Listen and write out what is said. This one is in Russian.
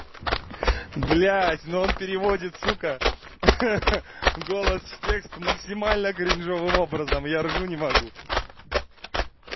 блядь но он переводит сука ха-ха голос в текст максимально кринжовым образом я ржу не могу